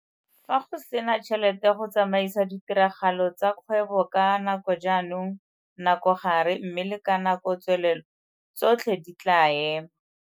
Fa go se na tšhelete go tsamaisa ditiragalo tsa kgwebo ka nakojaanong, nakogare mme le ka nakotswelelo tsotlhe di tlaa ema.